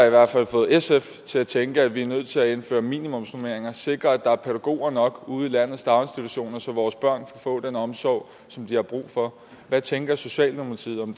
i hvert fald fået sf til at tænke at vi er nødt til at indføre minimumsnormeringer sikre at der er pædagoger nok ude i landets daginstitutioner så vores børn kan få den omsorg som de har brug for hvad tænker socialdemokratiet om